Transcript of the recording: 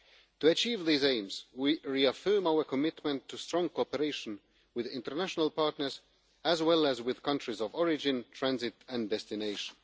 To achieve these aims, we reaffirm our commitment to strong cooperation with international partners, as well as with countries of origin, transit and destination.